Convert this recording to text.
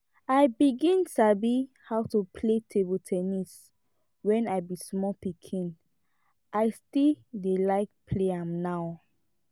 i begin sabi how to play table ten nis when i be small pikin i still dey like play am now